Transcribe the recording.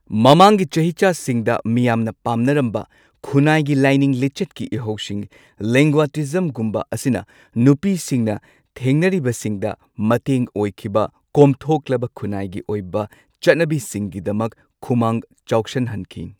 ꯃꯃꯥꯡꯒꯤ ꯆꯍꯤꯆꯥꯁꯤꯡꯗ ꯃꯤꯌꯥꯝꯅ ꯄꯥꯝꯅꯔꯝꯕ ꯈꯨꯟꯅꯥꯏꯒꯤ ꯂꯥꯏꯅꯤꯡ ꯂꯤꯆꯠꯀꯤ ꯏꯍꯧꯁꯤꯡ, ꯂꯤꯡꯒꯌꯥꯇꯤꯖꯝꯒꯨꯝꯕ, ꯑꯁꯤꯅ ꯅꯨꯄꯤꯁꯤꯡꯅ ꯊꯦꯡꯅꯔꯤꯕꯁꯤꯡꯗ ꯃꯇꯦꯡ ꯑꯣꯏꯈꯤꯕ ꯀꯣꯝꯊꯣꯛꯂꯕ ꯈꯨꯟꯅꯥꯏꯒꯤ ꯑꯣꯏꯕ ꯆꯠꯅꯕꯤꯁꯤꯡꯒꯤꯗꯃꯛ ꯈꯨꯃꯥꯡ ꯆꯥꯎꯁꯟꯍꯟꯈꯤ꯫